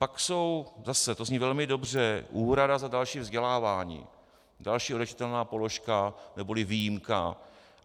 Pak jsou, zase to zní velmi dobře, úhrada za další vzdělávání, další odečitatelná položka neboli výjimka.